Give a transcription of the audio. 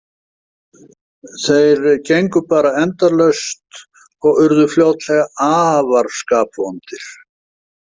Þeir gengu bara endalaust og urðu fljótlega afar skapvondir.